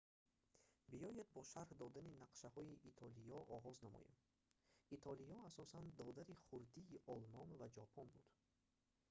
биёед бо шарҳ додани нақшаҳои итолиё оғоз намоем итолиё асосан додари хурдии олмон ва ҷопон буд